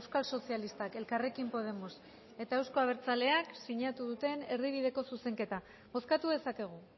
euskal sozialistak elkarrekin podemos eta euzko abertzaleak sinatu duten erdibideko zuzenketa bozkatu dezakegu